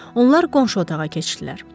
Onlar qonşu otağa keçdilər.